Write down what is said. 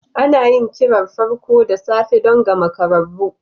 Ana yin kirar farko da safe don ga makararru.